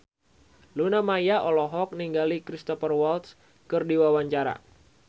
Luna Maya olohok ningali Cristhoper Waltz keur diwawancara